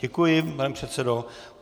Děkuji, pane předsedo.